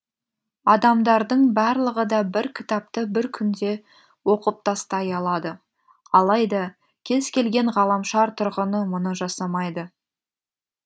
адамдардың барлығы да бір кітапты бір күнде оқып тастай алады алайда кез келген ғаламшар тұрғыны мұны жасамайды